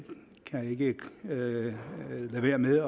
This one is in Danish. kan ikke lade være med